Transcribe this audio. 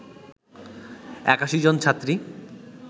৮১ জন ছাত্রী